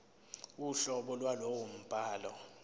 uhlobo lwalowo mbhalo